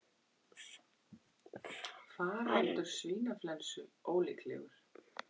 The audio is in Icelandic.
Faraldur svínaflensu ólíklegur